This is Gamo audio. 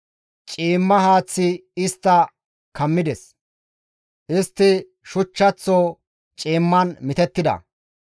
Ciimma haaththi istta kammides; istti shuchchaththo ciimman mitettida.